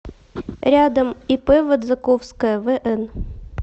рядом ип водзаковская вн